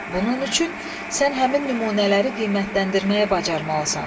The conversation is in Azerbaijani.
Bunun üçün sən həmin nümunələri qiymətləndirməyi bacarmalısan.